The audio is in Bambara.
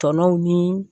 Tɔnɔw ni